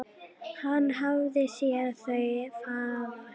Hann hafði séð þau fæðast.